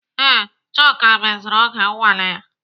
Ee, Chuka mezuru oge nnwale ya.